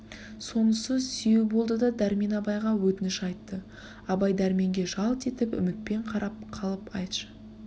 сонысы сүйеу болды да дәрмен абайға өтініш айтты абай дәрменге жалт етіп үмітпен қарап қалып айтшы